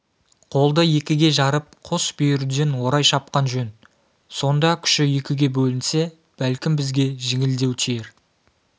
қолды екіге жарып қос бүйірден орай шапқан жөн сонда күші екіге бөлінсе бәлкім бізге жеңілдеу тиер